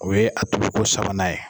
O ye a tobi ko sabanan ye